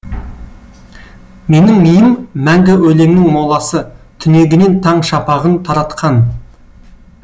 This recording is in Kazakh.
менің миым мәңгі өлеңнің моласы түнегінен таң шапағын таратқан